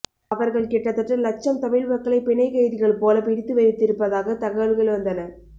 அவர்கள் கிட்டத்தட்ட லட்சம் தமிழ் மக்களை பிணைக்கைதிகள் போல பிடித்து வைத்திருப்பதாக தகவல்கள் வந்தன